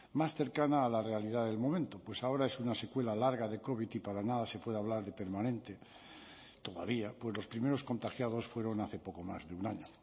más cercana a la realidad del momento pues ahora es una secuela larga de covid y para nada se puede hablar de permanente todavía pues los primeros contagiados fueron hace poco más de un año